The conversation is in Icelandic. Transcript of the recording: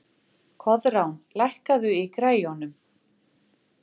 Koðrán, lækkaðu í græjunum.